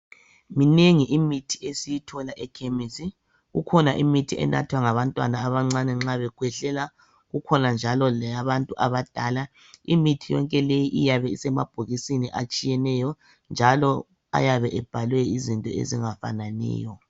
Minengi imithi esiyithola ekhemesi, kukhona imithi enathwa ngabantwana abancane nxa bekhwehlela kukhona njalo leyabantu abadala, imithi yonke leyi iyabe isemabhokisini atshiyeneyo njalo ayabe ebhalwe izinto ezingafananiyo.